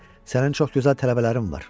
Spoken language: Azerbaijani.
Sənin çox gözəl tələbələrin var.